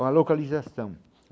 Uma localização.